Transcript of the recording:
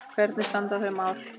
Hvernig standa þau mál?